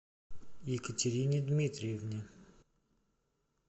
екатерине дмитриевне